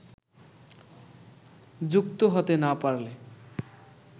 যুক্ত হতে না পারলে